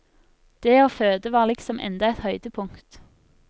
Det å føde var liksom enda et høydepunkt.